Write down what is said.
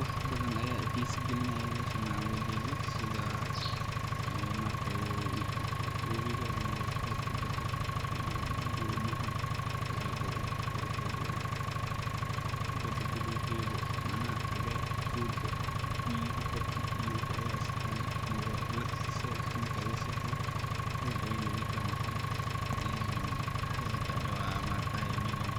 Wax badan ayaa ixiisa galinaayo meeshan aan ooga jeedo sidha webiga ama xeebta Bada, doomaha faraha badan, quruxda badan, bada baluugeeda, micnaha cagaarka dooga biyaha badi iyo wixi ayaa is haayan, lag ayeey iila egtahay, teeda kale meeshan